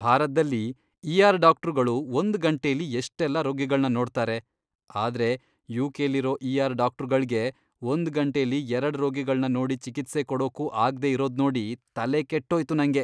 ಭಾರತ್ದಲ್ಲಿ ಇಆರ್ ಡಾಕ್ಟ್ರುಗಳು ಒಂದ್ ಗಂಟೆಲಿ ಎಷ್ಟೆಲ್ಲ ರೋಗಿಗಳ್ನ ನೋಡ್ತಾರೆ, ಆದ್ರೆ ಯುಕೆಲಿರೋ ಇಆರ್ ಡಾಕ್ಟ್ರುಗಳ್ಗೆ, ಒಂದ್ ಗಂಟೆಲಿ ಎರಡ್ ರೋಗಿಗಳ್ನ ನೋಡಿ ಚಿಕಿತ್ಸೆ ಕೊಡೋಕೂ ಆಗ್ದೇ ಇರೋದ್ನೋಡಿ ತಲೆಕೆಟ್ಟೋಯ್ತು ನಂಗೆ.